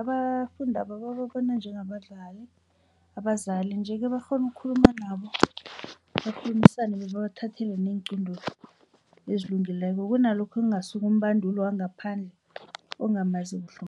abafundaba babona abazali nje-ke bakghona ukukhuluma nabo bakhulumisane babathathela neenqunto ezilungileko kunalokho kungasuka umbanduli wangaphandle ongamaziko